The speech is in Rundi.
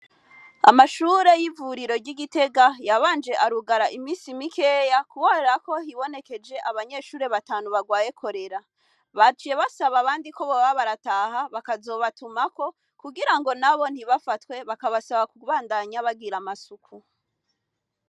Amashure y'ivuriro ry'igitega yabanje arugara imisi imikeya kubonerako hibonekeje abanyeshuri batanu barwaye korera bajiye basaba abandi ko boba barataha bakazobatumako kugira ngo na bo ntibafatwe bakabasaba ku gbandanya bagira amasuku.